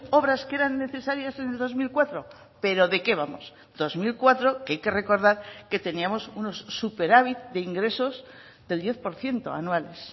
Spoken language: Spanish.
obras que eran necesarias en el dos mil cuatro pero de qué vamos dos mil cuatro que hay que recordar que teníamos unos superávit de ingresos del diez por ciento anuales